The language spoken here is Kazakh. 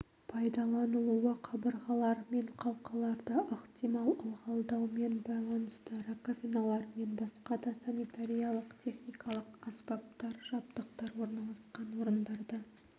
пайдаланылуы қабырғалар мен қалқаларды ықтимал ылғалдаумен байланысты раковиналар мен басқа да санитариялық-техникалық аспаптар жабдықтар орналасқан орындарда